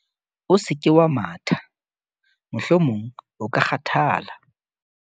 o se ke wa matha mohlomong o ka kgathala